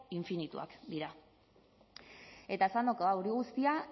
infinituak dira eta esandakoa hori guztia